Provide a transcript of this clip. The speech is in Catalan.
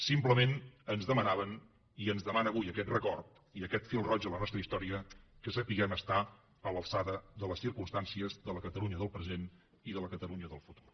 simplement ens demanaven i ens demanen avui aquest record i aquest fil roig de la nostra història que sapiguem estar a l’alçada de les circumstàncies de la catalunya del present i de la catalunya del futur